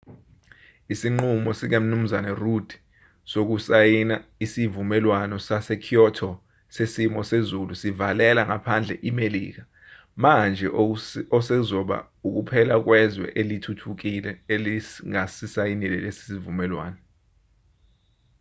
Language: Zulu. isinqumo sikamnu rudd sokusayina isivumelwano sase-kyoto sesimo sezulu sivalela ngaphandle imelika manje osekuzoba ukuphela kwezwe elithuthukile elingasisayinile lesi sivumelwano